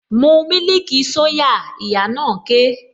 Mu mílìkì soya! Ìyá na ké